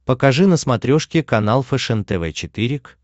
покажи на смотрешке канал фэшен тв четыре к